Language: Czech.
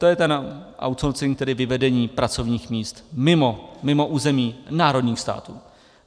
To je ten outsourcing, tedy vyvedení pracovních míst mimo území národních států.